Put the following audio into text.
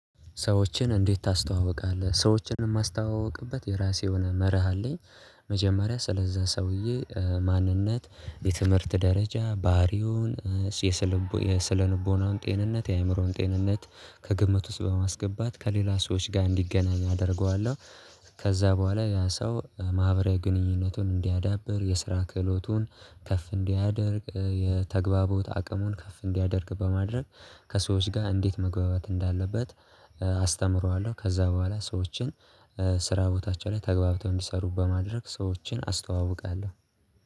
"ሰዎችን እንዴት ታስተዋውቃለህ?" ሰዎችን የማስተዋውቅበት የራሴ የሆነ መርህ አለኝ። መጀመሪያ ስለዛ ሰውዬ ማንነት፣ የትምህርት ደረጃ፣ ባህሪውን፣ የስነልቦናውን ጤንነት፣ የአእምሮውን ጤንነት፣ ከግምት ውስጥ በማስገባት ከሌላ ሰዎች ጋር እንዲገናኝ አደርገዋለሁ። ከዛ በኋላ ያ ሰው ማህበራዊ ግንኙነቱን እንዲያዳብር፤ የስራ ክህሎቱን ከፍ እንዲያደርግ፤ የተግባቦት አቅሙን ከፍ እንዲያደርግ በማድረግ፤ ከሰዎች ጋር እንዴት መግባባት እንዳለበት አስተምረዋለሁ። ከዛ በኋላ ሰዎችን ስራ ቦታቸው ላይ ተግባብተው እንዲሰሩ በማድረግ፤ ሰዎችን አስተዋውቃለሁ።